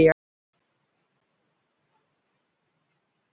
Kaffi án kaffibætis var stundum kallað baunakaffi.